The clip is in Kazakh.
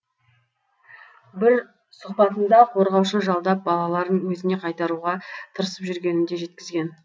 бір сұқбатында қорғаушы жалдап балаларын өзіне қайтаруға тырысып жүргенін де жеткізген